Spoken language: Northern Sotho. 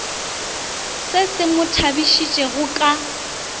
se se mo tšhabišitšego ka